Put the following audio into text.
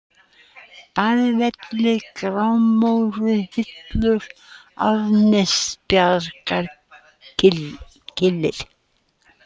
Baðsvellir, Grámóruhillur, Árnastaðabjarg, Kyllir